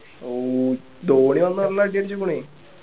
ഹും ധോണി വന്ന് നല്ല അടി അടിച്ചു പോയി